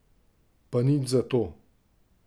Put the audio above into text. Pa nič zato.